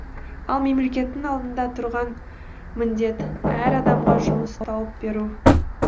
ал мемлекеттің алдында тұрған міндет әр адамға жұмыс тауып беру